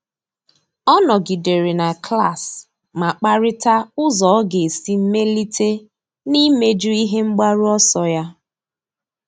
Ọ́ nọ́gídèrè na klas ma kparịta ụ́zọ́ ọ́ga esi mèlíté n’íméjú ihe mgbaru ọsọ ya.